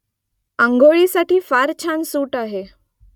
आंघोळीसाठी फार छान सूट आहे